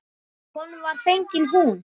Honum var fengin hún.